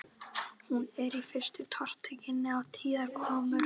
Hún er í fyrstu tortryggin á tíðar komur